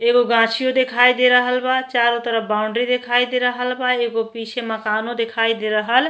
एगो गाछीओ दिखाई दे रहल बा। चारो तरफ बाउंड्री दिखाई दे रहल बा। एगो पीछे मकानों दिखाई दे रहल --